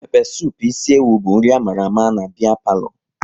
Pépé supu ịsi ewu bu nri amala ama n'biya palo